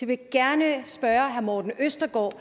vil gerne spørge herre morten østergaard